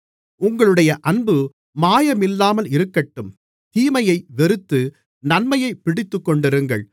உங்களுடைய அன்பு மாயமில்லாமல் இருக்கட்டும் தீமையை வெறுத்து நன்மையைப் பிடித்துக்கொண்டிருங்கள்